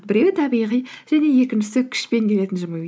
біреуі табиғи және екіншісі күшпен келетін жымию